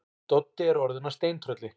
Doddi er orðinn að steintrölli.